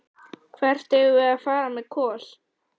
Hvert eigum við að fara með Kol?